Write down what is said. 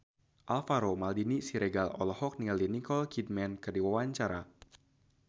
Alvaro Maldini Siregar olohok ningali Nicole Kidman keur diwawancara